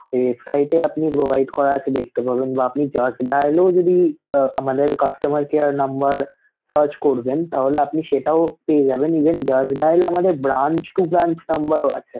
website এ আপনি provide করা আছে দেখতে পাবেন বা আপনি just dial এও যদি আহ আমাদের customer care number search করবেন তাহলে আপনি সেটাও পেয়ে যাবেন Even just dial আমাদের branch to branch number ও আছে.